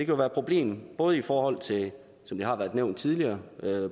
jo være et problem både i forhold til som det har været nævnt tidligere